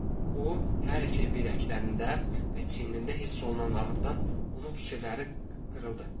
O hər iki biləklərində və çiyinində hiss olunan ağrıdan onun fikirləri qırıldı.